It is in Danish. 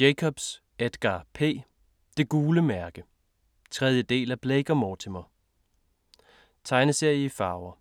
Jacobs, Edgar P.: Det gule mærke 3. del af Blake og Mortimer. Tegneserie i farver.